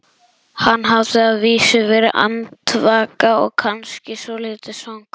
Hann hafði að vísu verið andvaka og kannski svolítið svangur.